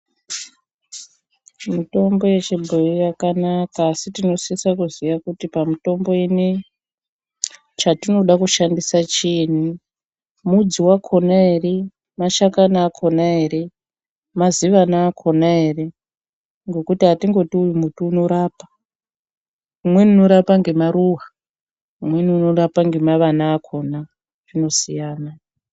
Mitombo yechibhoyi yakanaka asi tinosisa kuziya kuti pamitombo inei chatinoda kushandisa chiini, mudzi wakona ere, mashakani akona ere, mazivana akona ere ngokuti atingoti uyu muti unorapa. Umweni unorapa ngemaruva umweni unorapa ngemavana akona, zvinosiyayana.